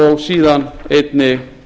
og síðan einnig